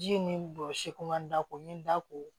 Ji ni bosi ko man da ko min da ko